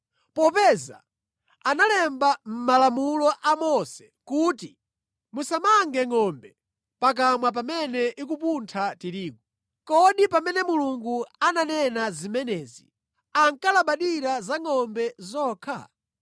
Popeza analemba mʼMalamulo a Mose kuti, “Musamange ngʼombe pakamwa pamene ikupuntha tirigu.” Kodi pamene Mulungu ananena zimenezi ankalabadira za ngʼombe zokha?